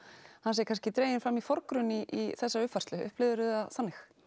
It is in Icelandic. hann sé kannski dreginn fram í forgrunn í þessari uppfærslu upplifðirðu það þannig